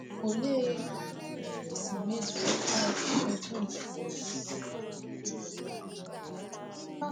Olee otú e si mezuo amụma Zefanaịa na na Nineve?